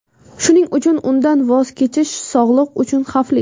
Shuning uchun undan voz kechish sog‘liq uchun xavfli.